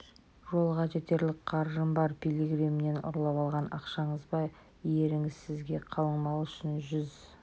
жолға жетерлік қаржым бар пилигримнен ұрлап алған ақшаңыз ба еріңіз сізге қалыңмал үшін жүз